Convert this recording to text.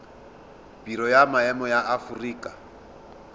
biro ya maemo ya aforika